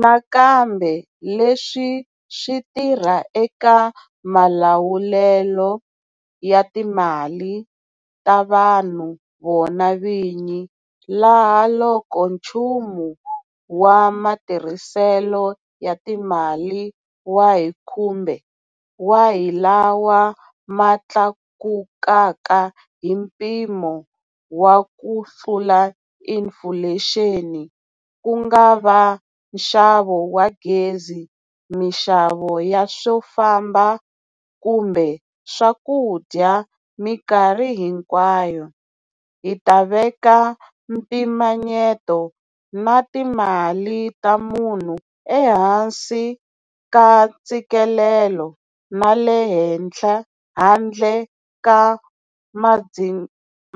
Nakambe leswi swi tirha eka malawulelo ya timali ta vanhu vona vini, laha loko nchumu wa matirhiselo ya timali wa hi kumbe wa hi lawa ma tlakukaka hi mpimo wa kutlula inifulexini ku nga va nxavo wa gezi, mixavo ya swifambo kumbe swakudya mikarhi hinkwayo hi ta veka mpimanyeto na timali ta munhu ehansi ka ntshikelelo na le handle ka